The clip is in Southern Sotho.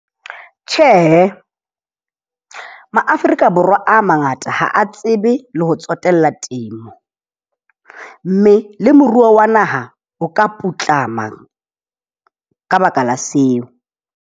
Tjhe, Ma-Afrika Borwa a mangata ha a tsebe le ho tsotella temo. Mme le moruo wa naha o ka putlama ka baka la seo.